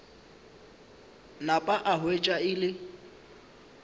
napa a hwetša e le